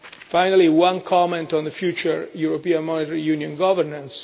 Finally, one comment on the future of European Monetary Union governance.